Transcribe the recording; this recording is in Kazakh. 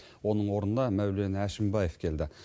оның орнына мәулен әшімбаев келді